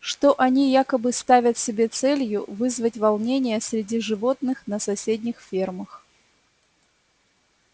что они якобы ставят себе целью вызвать волнения среди животных на соседних фермах